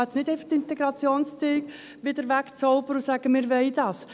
Man kann nicht einfach die Integrationsziele wegzaubern und sagen, dass wir dies wollen.